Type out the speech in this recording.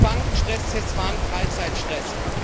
Diese Bankenstresstests waren Freizeitstress!